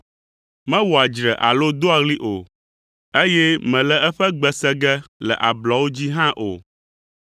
Mewɔa dzre alo doa ɣli o, eye mèle eƒe gbe se ge le ablɔwo dzi hã o!